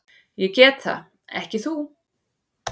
Ég get það, ekki þú.